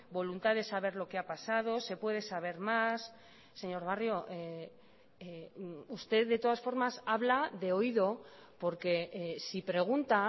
voluntad de saber lo que ha pasado se puede saber más señor barrio usted de todas formas habla de oído porque si pregunta